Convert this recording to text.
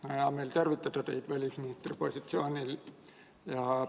Mul on hea meel tervitada teid välisministri positsioonil.